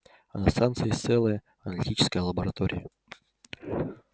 а на станции есть целая аналитическая лаборатория